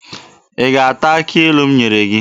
Ị ga-ata akị ilu ahụ m nyere gị!